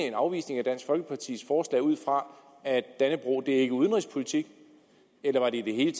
en afvisning af dansk folkepartis forslag ud fra at dannebrog ikke er udenrigspolitik eller var det i det hele